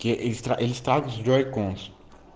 я эльф также курс